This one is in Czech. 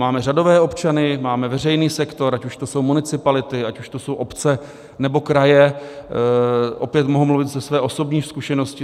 Máme řadové občany, máme veřejný sektor, ať už to jsou municipality, ať už to jsou obce, nebo kraje, opět mohu mluvit ze své osobní zkušenosti.